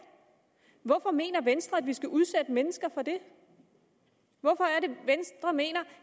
hvorfor mener venstre at vi skal udsætte mennesker for det hvorfor er det venstre mener